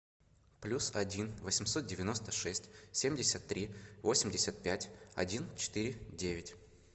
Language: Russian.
плюс один восемьсот девяносто шесть семьдесят три восемьдесят пять один четыре девять